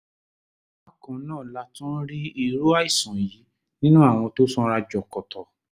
bákan náà la tún rí irú àìsàn yìí nínú àwọn tó sanra jọ̀kọ̀tọ̀